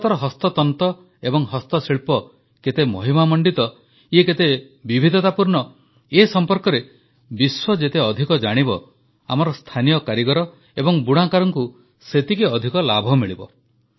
ଭାରତର ହସ୍ତତନ୍ତ ଏବଂ ହସ୍ତଶିଳ୍ପ କେତେ ମହିମାମଣ୍ଡିତ କେତେ ବିବିଧତାପୂର୍ଣ୍ଣ ଏ ସମ୍ପର୍କରେ ବିଶ୍ୱ ଯେତେ ଅଧିକ ଜାଣିବ ଆମର ସ୍ଥାନୀୟ କାରିଗର ଏବଂ ବୁଣାକାରଙ୍କୁ ସେତିକି ଅଧିକ ଲାଭ ମିଳିବ